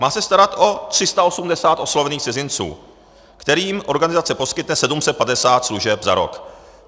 Má se starat o 380 oslovených cizinců, kterým organizace poskytne 750 služeb za rok.